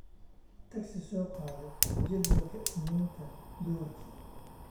Taxi soo qaado jadwalka Isniinta duhurkii